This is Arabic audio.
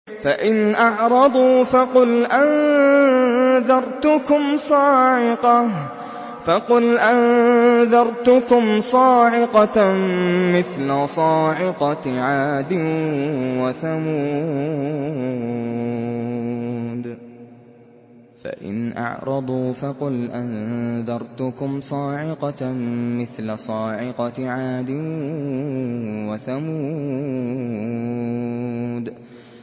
فَإِنْ أَعْرَضُوا فَقُلْ أَنذَرْتُكُمْ صَاعِقَةً مِّثْلَ صَاعِقَةِ عَادٍ وَثَمُودَ